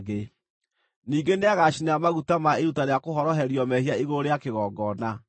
Ningĩ nĩagacinĩra maguta ma iruta rĩa kũhoroherio mehia igũrũ rĩa kĩgongona.